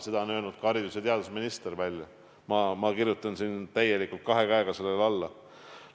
Seda on öelnud ka välja haridus- ja teadusminister, mina kirjutan täielikult kahel käel siia alla.